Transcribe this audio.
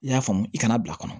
I y'a faamu i kana bila a kɔnɔ